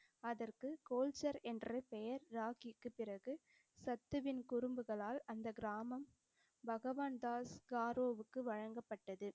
அதற்குக் கோல்சர் என்ற பெயர் ராக்கிக்கு பிறகு சத்துவின் குறும்புகளால் அந்தக் கிராமம் பகவான் தாஸ் காரோவுக்கு வழங்கப்பட்டது.